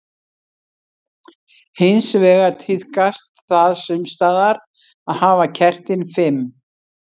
Hins vegar tíðkast það sums staðar að hafa kertin fimm.